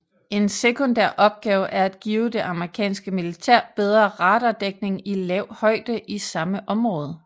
En sekundær opgave er at give det amerikanske militær bedre radardækning i lav højde i samme område